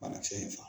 Banakisɛ in faga